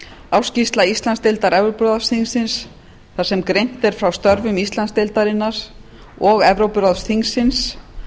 ársskýrsla íslandsdeild evrópuráðsþingsins þar sem greint er frá störfum íslandsdeildarinnar og evrópuráðsþingsins